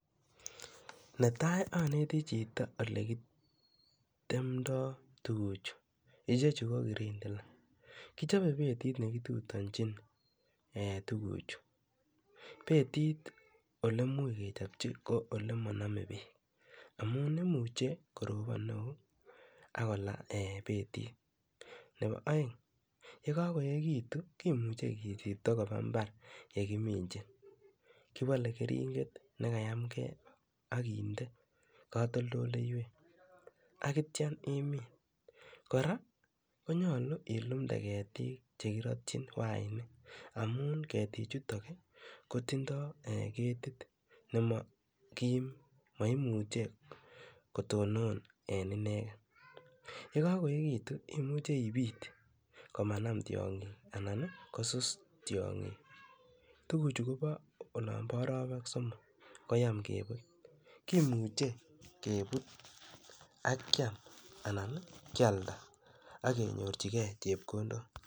Ne tai, aneti chito ole kitemdai tugucho. Ichchechu ko Karandela. Kichope bedit ne kitutanchin tuguchu. Bedit ole much kechapchi ko ole much ma name peek amun imuche koropon neo ako la bedit. Nepo aeng' , ye kakoekitu kimuchi kichipto kopa mbar ye kiminchin. Kipale keringet ne kayamgei ak kinde katoltoloiwek atiam imin. Kora ko nyalu ilumde ketik che kiratchin wainik amu ketichutok kotindai ketit ne makim ne maimuche kotonon en inegen. Ye kakoekitu iuche ipit ko manam tiang'ik anan kosus tiang'ik. Tuguchu kopa olan pa arawek somok koyam keput. Kimuche keput ak keam anan kealda ak kenyorchigei chepkondok.